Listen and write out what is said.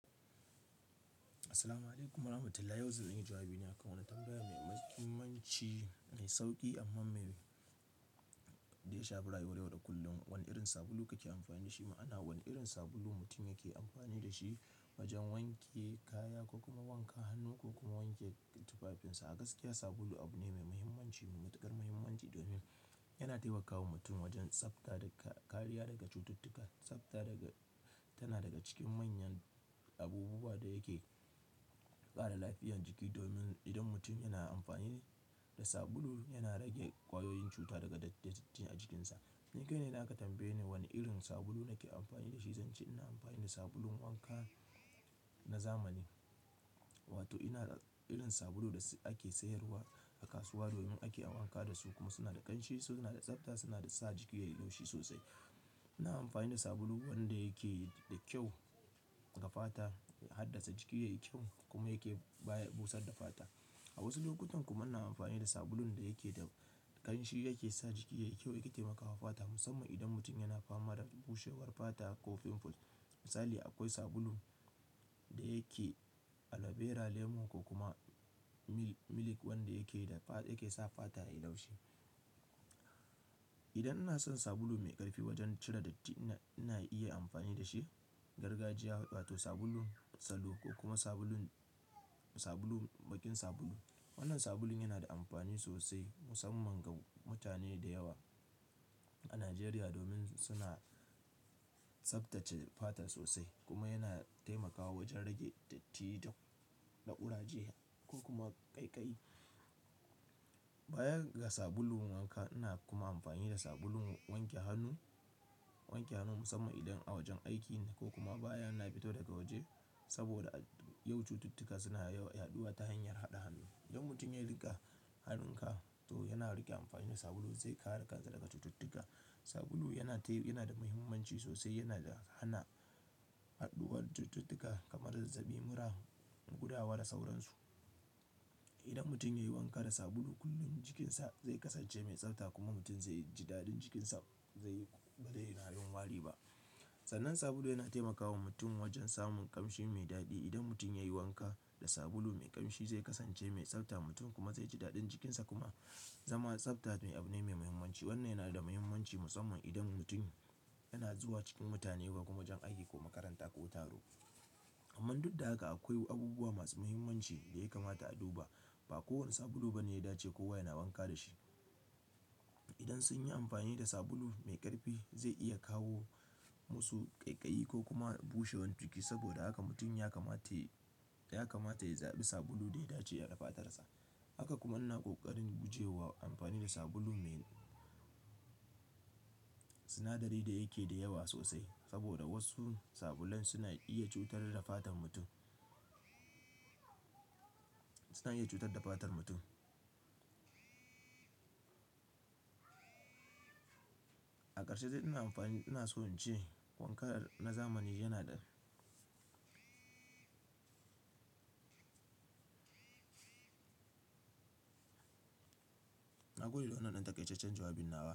yau zanyi jawabi ne a kan wani tambaya mai mahimmanci, mai sauki amma mai daya shafe rayuwar da kullum. Wane irin sabulu kake amfani da shi? Ma'ana wane irin sabulu mutum yake amfani da shi wajen wanke kaya ko kuma wankan hannu ko kuma wanke tufafinsa. A gaskiya sabulu abu ne mai muhimmanci, mai matukar muhimmanci domin yana taimakawa mutum wajen tsafta daga-- kariya daga cututtuka. Tsafta daga-- tana daga cikin manyan abubuwa da yake ƙara lafiyar jiki domin idan mutum yana amfani da sabulu yana rage ƙwayoyin cuta daga datti a jikinsa. Ni kai na idan aka tambaye ni wane irin sabulu nake amfani da shi, zance ina amfani da sabulun wanka na zamani. Wato ina da irin sabulu da ake sayarwa a kasuwa domin ake wanka da su kuma suna da ƙanshi, su suna da tsafta, suna sa jiki yayi laushi sosai. Ina amfani da sabulu wanda yake da kyau ga fata, ya haddasa jiki yayi kyau kuma yake baya busar da fata. A wasu lokutan kuma ina amfani da sabulun da yake da ƙamshi yake sa jiki yayi kyau yake taimakawa fata musamman idan mutum yana fama da bushewar fata ko pimples. Misali akwai sabulu da yake aloe vera, lemu ko kuma mil-milk wanda yake da fa-- yake sa fata yayi laushi. Idan ina son sabulu mai ƙarfi wajen cire datti, ina iya amfani da shi, gargajiya wato sabulun salo ko kuma sabulun, sabulun, baƙin sabulu. Wannan sabulun yana da amfani sosai musamman ga mutane da yawa a Najeriya domin suna tsaftace fata sosai kuma yana taimakawa wajen rage datti da ƙuraje ko kuma ƙaiƙayi. Bayan ga sabulun wanka, ina kuma amfani da sabulun wanke hannu, wanke hannu musamman idan a wajen aikina ko kuma bayan na fito daga waje. Saboda yau cututtuka suna yawa, yaɗuwa ta hanyar haɗa hannu. Idan mutum ya yi riƙe hannunka to yana riƙe amfani da sabulu zai kare ka daga cututtuka. Sabulu yana tayi-- yana da muhimmanci sosai, yana da hana yaɗuwar cututtuka kamar zazzaɓi, mura, gudawa da sauransu. Idan mutum ya yi wanka da sabulu kullum, jikinsa zai kasance mai tsafta kuma mutum zai ji daɗin jikinsa zai, ba zai na yin wari ba. Sannan sabulu yana taimakawa mutum wajen samun ƙamshi mai daɗi. Idan mutum ya yi wanka da sabulu mai ƙamshi, zai kasance mai tsafta, mutum kuma zai ji daɗin jikinsa kuma zama tsafta abu ne mai muhimmanci. Wannan yana da muhimmanci musamman idan mutum yana zuwa cikin mutane ba kuma wajen aiki ko makaranta ko taro. Amman duk da haka akwai abubuwa masu muhimmanci da ya kamata a duba. Ba kowane sabulu bane ya dace kowa yana wanka da shi. Idan sun yi amfani da sabulu mai ƙarfi, zai iya kawo musu ƙaiƙayi ko kuma bushewar jiki saboda haka mutum ya kamata, ya kamata ya zaɓi sabulu da ya dace da fatarsa. Haka kuma ina ƙoƙarin gujewa amfani da sabulu mai sinadari da yake da yawa sosai saboda wasu sabulun suna iya cutar da fatan mutum suna iya cutar da fatar mutum. A ƙarshe dai ina amfani, ina so in ce wankar na zamani yana da na gode da wannan ɗan taƙaitaccen jawabin nawa.